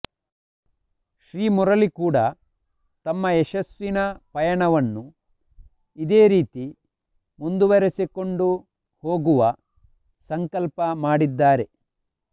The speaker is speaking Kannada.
ಶ್ರೀ ಮುರಳಿ ಕೂಡ ತಮ್ಮ ಯಶಸ್ಸಿನ ಪಯಣವನ್ನು ಇದೇ ರೀತಿ ಮುಂದುವರೆಸಿಕೊಂಡು ಹೋಗುವ ಸಂಕಲ್ಪ ಮಾಡಿದ್ದಾರೆ